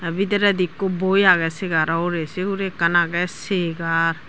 te bidiredi ekko boi age segaro ugure se hure ekkan agey segar.